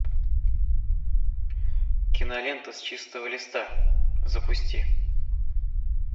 кинолента с чистого листа запусти